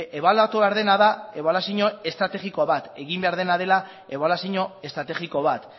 ebaluatu behar dena da ebaluazio estrategiko bat egin behar dena dela ebaluazio estrategiko bat